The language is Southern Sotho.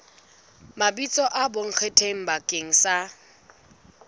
mabitso a bonkgetheng bakeng sa